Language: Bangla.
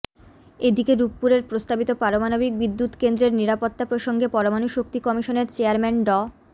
এদিকে রূপপুরের প্রস্তাবিত পারমাণবিক বিদ্যুৎকেন্দ্রের নিরাপত্তা প্রসঙ্গে পরমাণু শক্তি কমিশনের চেয়ারম্যান ড